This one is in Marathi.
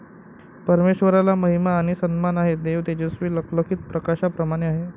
परमेश्वराला महिमा आणि सन्मान आहे. देव तेजस्वी लखलखीत प्रकाशाप्रमाणे आहे.